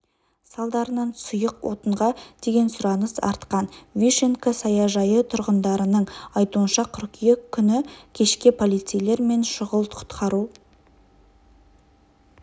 салдарынан сұйық отынға деген сұраныс артқан вишенка саяжайы тұрғындарының айтуынша қыркүйек күні кешке полицейлер мен шұғыл-құтқару